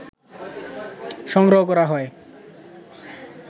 সংগ্রহ করা হয়